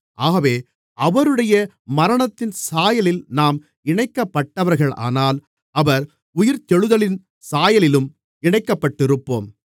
ஆகவே அவருடைய மரணத்தின் சாயலில் நாம் இணைக்கப்பட்டவர்களானால் அவர் உயிர்த்தெழுதலின் சாயலிலும் இணைக்கப்பட்டிருப்போம்